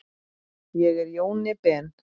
Ég er Jóni Ben.